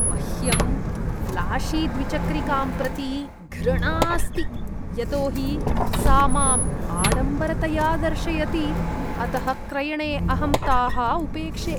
मह्यं ऴ्लाशीद्विचक्रिकां प्रति घृणा अस्ति यतोहि सा मां आडंबरतया दर्शयति, अतः क्रयणे अहं ताः उपेक्षे।